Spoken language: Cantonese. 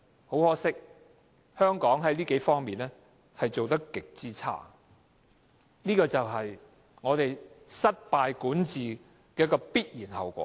很可惜，香港在這數方面做得極差，這就是政府管治失敗的必然後果。